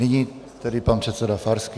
Nyní tedy pan předseda Farský.